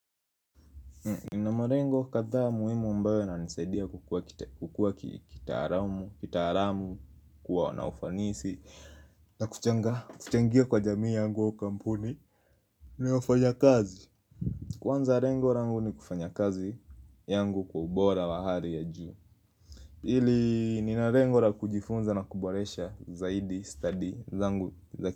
Ninamarengo kadhaa muhimu ambayo na nisaidia kukua kitaramu, kitaramu kuwa na ufanisi, na kuchenga kuchangia kwa jamii yangu kampuni. Ninaofanya kazi. Kwanza rengo rangu ni kufanya kazi yangu kwa ubora wa hari ya juu. Ili nina rengor a kujifunza na kuboresha zaidi study zangu.